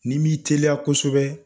N'i m'i teliya kosɛbɛ,